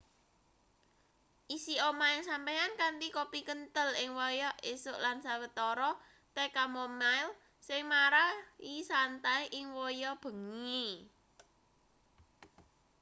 isi omahe sampeyan kanthi kopi kenthel ing wayah esuk lan sawetara teh chamomile sing marai santai ing wayah bengi